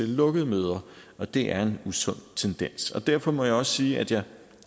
lukkede møder og det er en usund tendens derfor må jeg også sige at jeg